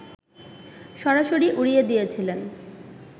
সরাসরি উড়িয়ে দিয়েছেন